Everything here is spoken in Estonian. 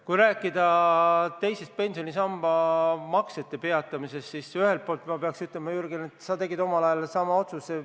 Kui rääkida teise pensionisamba maksete peatamisest, siis ühelt poolt ma peaks ütlema, Jürgen, et sina tegid omal ajal sama otsuse.